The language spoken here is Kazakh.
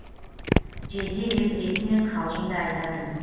жезде деп ретімен қалжың да айтатын